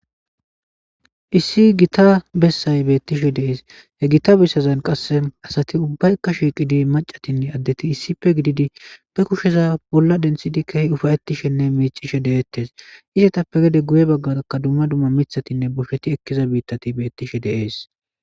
Issi gita besay betishe de'es he gita besazan qase asati ubayika shiqidi mac'atinne adeti issipe gididi be kusheza bola dentidi kehi ufaytishenne mic'ishe de'etes izetappe gede guye bagaraka duma duma mitatinne boshati eqiza bitati de'etes.